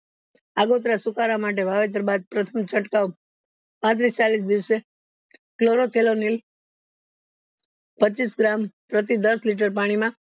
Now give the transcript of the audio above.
સુકરા માટે વાવેતર બાદ પ્રથમ ચડકાવ પાત્રીસ ચાલીશ દિવસે પચીસ gram પ્રતિ દસ liter પાણી માં